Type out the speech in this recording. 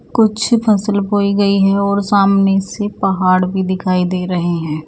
कुछ फसल बोई गई है और सामने से पहाड़ भी दिखाई दे रहे हैं।